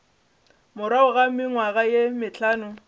morago ga mengwaga ye mehlano